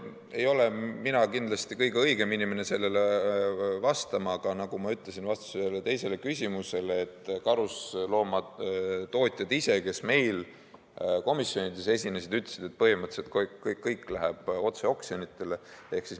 Ei ole mina kindlasti kõige õigem inimene sellele vastama, aga nagu ma ütlesin vastuses ühele teisele küsimusele: karusloomatootjad ise, kes meil komisjonides olid, ütlesid, et põhimõtteliselt kõik läheb otse oksjonitele.